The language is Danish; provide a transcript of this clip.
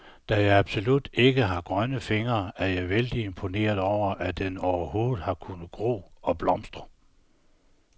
Da jeg absolut ikke har grønne fingre, er jeg vældig imponeret over, at den overhovedet har kunnet gro og blomstre.